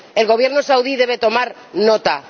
El Gobierno saudí debe tomar nota.